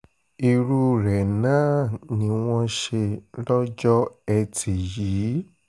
irú rẹ̀ náà ni wọ́n ṣe lọ́jọ́ etí yìí